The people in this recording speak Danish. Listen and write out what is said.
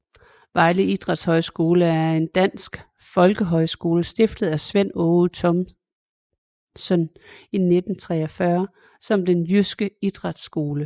Vejle Idrætshøjskole er en dansk folkehøjskole stiftet af Svend Aage Thomsen i 1943 som Den Jyske Idrætsskole